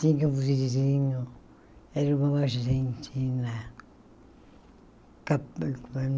Tinha um vizinho, era uma uma argentina.